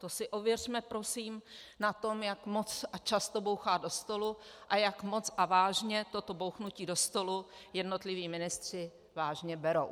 To si ověřme, prosím, na tom, jak moc a často bouchá do stolu a jak moc a vážně toto bouchnutí do stolu jednotliví ministři vážně berou.